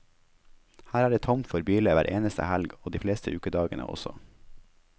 Her er det tomt for biler hver eneste helg, og de fleste ukedagene også.